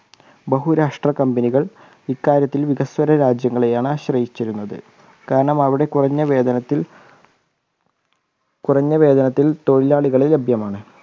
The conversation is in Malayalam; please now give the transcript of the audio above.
ബഹുരാഷ്ട്ര company കൾ ഇക്കാര്യത്തിൽ വികസന രാജ്യങ്ങളെയാണ് ആശ്രയിച്ചിരുന്നത് കാരണം അവിടെ കുറഞ്ഞ വേതനത്തിൽ കുറഞ്ഞ വേതനത്തിൽതൊഴിലാളികളെ ലഭ്യമാണ്